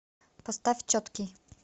поставь четкий